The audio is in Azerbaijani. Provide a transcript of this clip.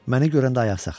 Məni görəndə ayaq saxladı.